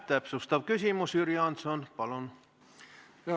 Täpsustav küsimus, Jüri Jaanson, palun!